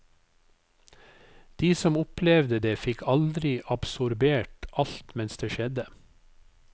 De som opplevde det fikk aldri absorbert alt mens det skjedde.